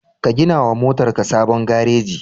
Ka gina wa motarka sabon gareji.